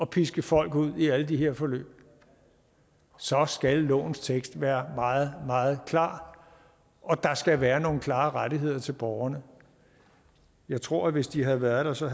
piske folk rundt i alle de her forløb så skal lovens tekst være meget meget klar og der skal være nogle klare rettigheder til borgerne jeg tror at hvis de havde været der så